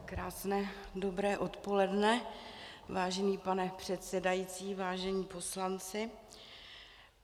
Krásné dobré odpoledne, vážený pane předsedající, vážení poslanci.